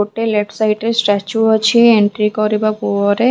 ଗୋଟେ left side ରେ statue ଅଛି ଏଣ୍ଟ୍ରି କରିବା ପରେ --